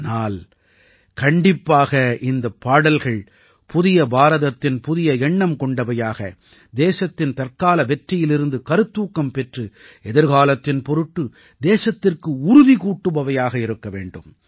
ஆனால் கண்டிப்பாக இந்தப் பாடல்கள் புதிய பாரதத்தின் புதிய எண்ணம் கொண்டவையாக தேசத்தின் தற்கால வெற்றியிலிருந்து கருத்தூக்கம் பெற்று எதிர்காலத்தின் பொருட்டு தேசத்திற்கு உறுதி கூட்டுபவையாக இருக்க வேண்டும்